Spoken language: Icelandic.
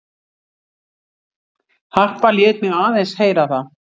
Harpa lét mig aðeins heyra það.